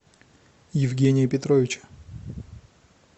евгения петровича